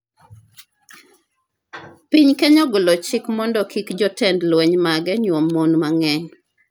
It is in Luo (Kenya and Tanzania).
Piny Kenya ogolo chik mondo kik jotend lweny mage nyuom mon mang'eny